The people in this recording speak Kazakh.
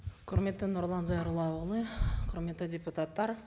құрметті нұрлан зайроллаұлы құрметті депутаттар